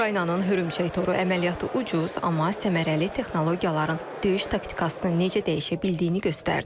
Ukraynanın hörümçək toru əməliyyatı ucuz, amma səmərəli texnologiyaların döyüş taktikasını necə dəyişə bildiyini göstərdi.